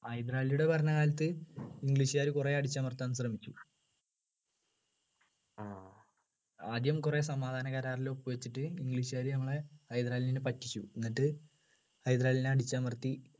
ഹൈദരാലിയുടെ ഭരണകാലത്ത് english കാര് കുറെ അടിച്ചമർത്താൻ ശ്രമിച്ചു ആദ്യം കുറെ സമാധാന കരാറിൽ ഒപ്പുവച്ചിട്ട് english കാര് നമ്മളെ ഹൈദരാലിനെ പറ്റിച്ചു എന്നിട്ട് ഹൈദരാലിനെ അടിച്ചമർത്തി